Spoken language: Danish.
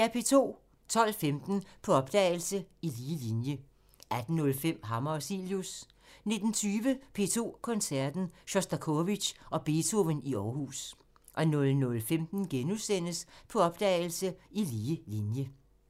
12:15: På opdagelse – I lige linje 18:05: Hammer og Cilius 19:20: P2 Koncerten – Sjostakovitj og Beethoven i Aarhus 00:15: På opdagelse – I lige linje *